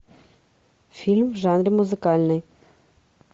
фильм в жанре музыкальный